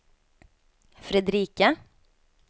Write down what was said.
Fredrika